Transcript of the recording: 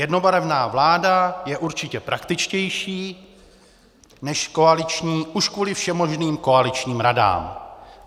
Jednobarevná vláda je určitě praktičtější než koaliční už kvůli všemožným koaličním radám."